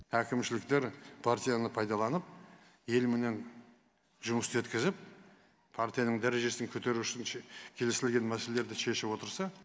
әкімшіліктер партияны пайдаланып елменен жұмыс істеткізіп партияның дәрежесін көтеру үшін келісілген мәселелерді шешіп отырса